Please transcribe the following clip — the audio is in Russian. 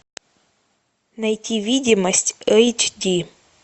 найти видимость эйч ди